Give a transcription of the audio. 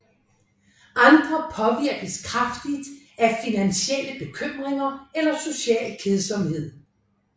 Andre påvirkes kraftigt af finansielle bekymringer eller social kedsomhed